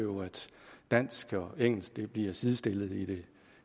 dansk og engelsk bliver sidestillet i det